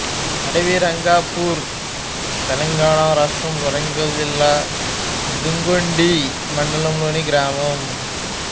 అడవిరంగాపూర్ తెలంగాణ రాష్ట్రం వరంగల్ జిల్లా దుగ్గొండి మండలం లోనిగ్రామం